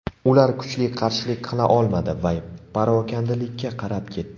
Ular kuchli qarshilik qila olmadi va parokandalikka qarab ketdi.